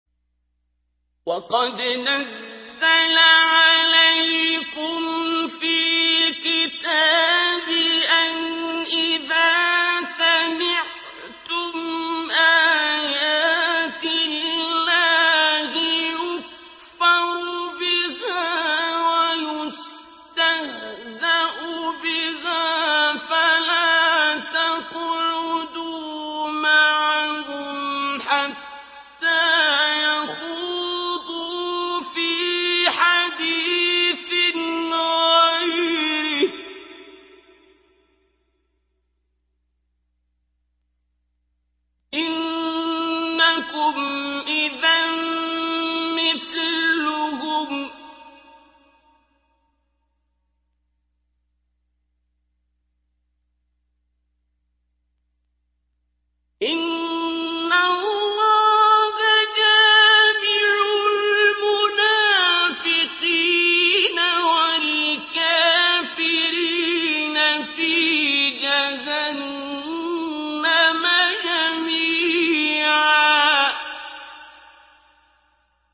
وَقَدْ نَزَّلَ عَلَيْكُمْ فِي الْكِتَابِ أَنْ إِذَا سَمِعْتُمْ آيَاتِ اللَّهِ يُكْفَرُ بِهَا وَيُسْتَهْزَأُ بِهَا فَلَا تَقْعُدُوا مَعَهُمْ حَتَّىٰ يَخُوضُوا فِي حَدِيثٍ غَيْرِهِ ۚ إِنَّكُمْ إِذًا مِّثْلُهُمْ ۗ إِنَّ اللَّهَ جَامِعُ الْمُنَافِقِينَ وَالْكَافِرِينَ فِي جَهَنَّمَ جَمِيعًا